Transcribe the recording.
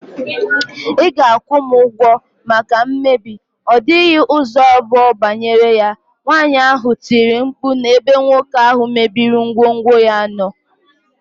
Ị ga- akwụ m ụgwọ maka mmebi, ọ dịghị ụzọ abụọ banyere ya, nwaanyị ahụ tiri mkpu n' ebe nwoke ahụ mebiri ngwongwo ya nọ.